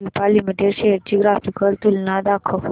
Cipla limited shares ची graphical तुलना दाखव